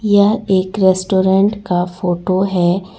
यह एक रेस्टोरेंट का फोटो है।